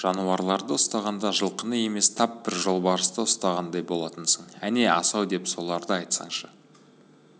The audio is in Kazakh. жануарларды ұстағаныңда жылқыны емес тап бір жолбарысты ұстағандай болатынсың әне асау деп соларды айтсаңшы